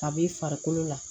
A b'i farikolo la